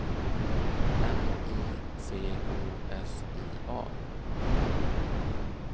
N I C O S I A